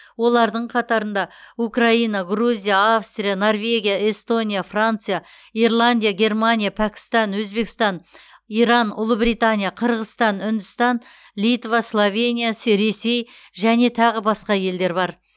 олардың қатарында украина грузия австрия норвегия эстония франция ирландия германия пәкістан өзбекстан иран ұлыбритания қырғызстан үндістан литва словения се ресей және тағы басқа елдер бар